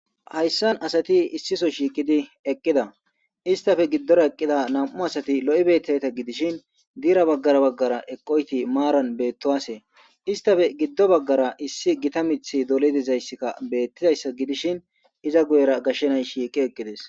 Haysani asati issi Soho shiqidi eqida istappe giddora eqida nam'u asati lo'i beetizayta gidishin fira bagara bagara eqoyti marani beetuwase, istappe gido bagara issi Gita mithy doli dizaysika beetizaysa gidishin iza guyera gashe nayti shiiqi eqidesi.